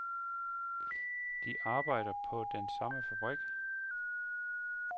De arbejder på den samme fabrik.